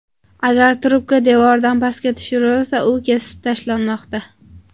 Agar trubka devordan pastga tushirilsa, u kesib tashlanmoqda.